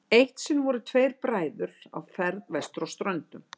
eitt sinn voru tveir bræður á ferð vestur á ströndum